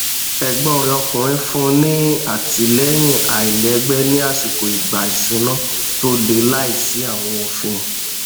ẹgbọn rẹ ọkùnrin fún un ní àtìlẹyìn iléìgbé ní àsìkò ìgbà ìṣúná tó le láìsí àwọn òfin